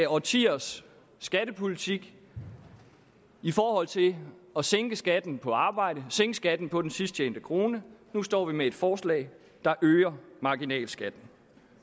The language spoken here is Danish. årtiers skattepolitik i forhold til at sænke skatten på arbejde sænke skatten på den sidst tjente krone nu står vi med et forslag der øger marginalskatten